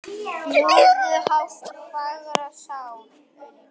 Fljúgðu hátt fagra sál.